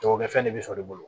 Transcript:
Jagokɛfɛn de bɛ sɔrɔ i bolo